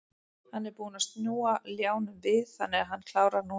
Hann er búinn að snúa ljánum við þannig að hann klárar núna.